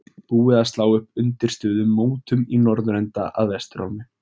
Búið að slá upp undirstöðu mótum í norðurenda að vestur álmu.